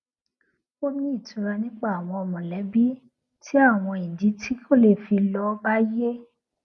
ó ní ìtura nípa àwọn mọlẹbí tí àwọn ìdí tí kò le fi lọ bá yé